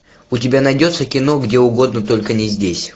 у тебя найдется кино где угодно только не здесь